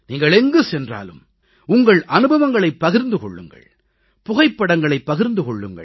நீங்கள் எங்கு சென்றாலும் உங்கள் அனுபவங்களைப் பகிர்ந்து கொள்ளுங்கள் புகைப்படங்களைப் பகிர்ந்து கொள்ளுங்கள்